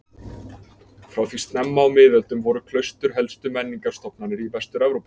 Frá því snemma á miðöldum voru klaustur helstu menningarstofnanir í Vestur-Evrópu.